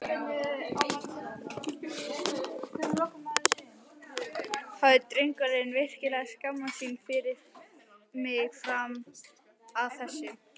Hafði drengurinn virkilega skammast sín fyrir mig fram að þessu?